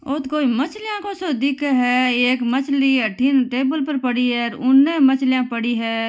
ओ तो कोई मछलियां को सो दिखे है एक मछली अठीन टेबल पर पड़ी है उने मछलियां पड़ी है।